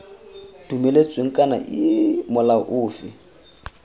dumeletsweng kana iii molao ofe